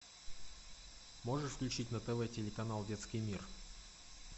можешь включить на тв телеканал детский мир